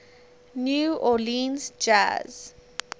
new orleans jazz